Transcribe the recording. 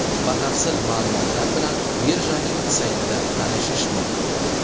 Batafsil ma’lumotlar bilan birjaning saytida tanishish mumkin .